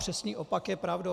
Přesný opak je pravdou.